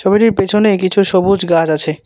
ছবিটির পেছনে কিছু সবুজ গাছ আছে।